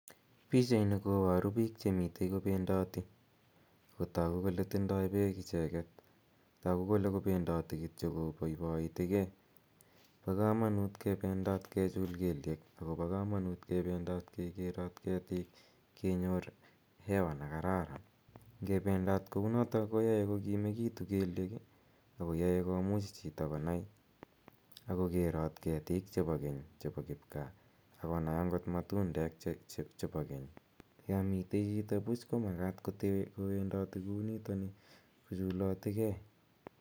Pichaini koparu piik che mitei kopendati. Ako tagu kole tindai peek icheget ako tagu kole kapendati kityo kopaipaitige. Pa kamanut kependat kechul keliek, ako pa kamanut kependat kekerat ketik, kenyor hewa ne kararan. Nge pendat kou noto koyae ko kimekitu keliek ak koyae komuch chito konai ak kokerat ketik chepo kipka ak konaj akot matundek chepa keny. Ya motei chito puch ko makat kowendati kou nitani kochulatigei.